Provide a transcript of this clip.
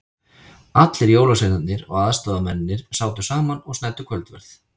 Allir jólasveinarnir og aðstoðamennirnir sátu saman og snæddu kvöldverð.